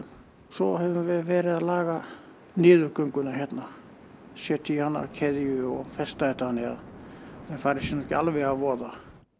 svo höfum við verið að laga niðurgönguna hérna setja í hana keðju og festa þannig að menn fari sér nú ekki alveg að voða